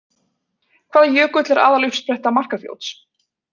Hvaða jökull er aðaluppspretta Markarfljóts?